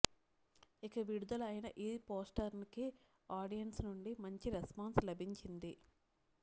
ఇక విడుదల అయిన ఈ పోస్టర్స్ కి ఆడియన్స్ నుండి మంచి రెస్పాన్స్ లభించింది